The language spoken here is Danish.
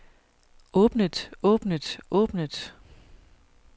åbnet åbnet åbnet